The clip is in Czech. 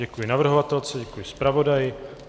Děkuji navrhovatelce, děkuji zpravodaji.